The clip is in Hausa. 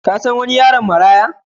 Ka san wani yaron maraya?